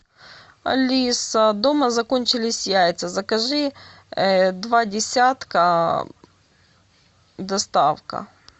алиса дома закончились яйца закажи два десятка доставка